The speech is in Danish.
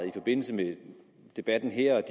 i forbindelse med debatten her og